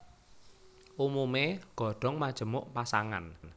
Umumé godhong majemuk pasangan